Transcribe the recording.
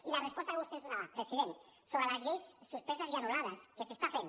i la resposta que vostè ens donava president sobre les lleis suspeses i anul·lades que s’està fent